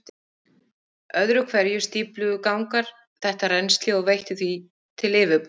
Öðru hverju stífluðu gangar þetta rennsli og veittu því til yfirborðs.